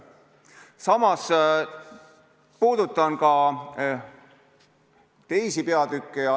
Samas puudutan ka teisi peatükke.